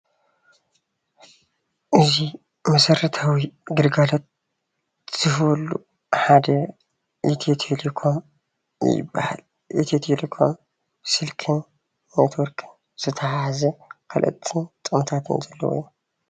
እዚ መሰረታዊ ግልጋሎት ዝወሃበሉ ሓደ ኢትዮ ቴሌኮም ይበሃል። ኢትዮ ቴሌኮም ስልክን ኔትወርክን ዘተሓሓዘ ካልኦትን ጥቅምታትን ኣለውዎ።